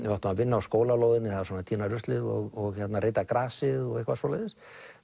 við áttum að vinna á skólalóðinni svona tína ruslið og reyta grasið og eitthvað svoleiðis